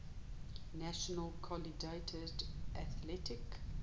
national collegiate athletic